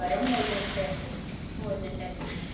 Não, eram outras festas.